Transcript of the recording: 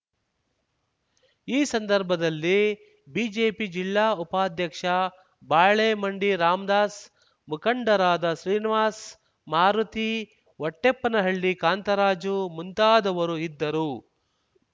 ಈ ಸಂದರ್ಭದಲ್ಲಿ ಬಿಜೆಪಿ ಜಿಲ್ಲಾ ಉಪಾಧ್ಯಕ್ಷ ಬಾಳೆಮಂಡಿ ರಾಮ್ ದಾಸ್‌ ಮುಖಂಡರಾದ ಶ್ರೀನಿವಾಸ್‌ ಮಾರುತಿ ಹೊಟ್ಟೆಪ್ಪನಹಳ್ಳಿ ಕಾಂತರಾಜು ಮುಂತಾದವರು ಇದ್ದರು